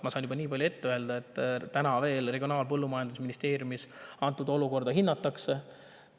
Ma saan ka nii palju öelda, et Regionaal‑ ja Põllumajandusministeeriumis olukorda veel hinnatakse.